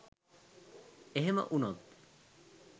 එහෙම වුණත්